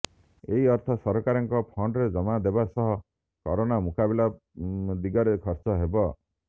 ଏହି ଅର୍ଥ ସରକାରଙ୍କ ଫଣ୍ଡରେ ଜମା ହେବା ସହ କରୋନା ମୁକାବିଲା ଦିଗରେ ଖର୍ଚ୍ଚ ହେବ